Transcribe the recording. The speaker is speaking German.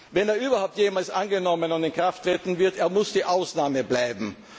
Wenn er überhaupt jemals angenommen und in Kraft treten wird, muss er die Ausnahme bleiben.